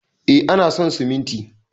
E, ana son siminti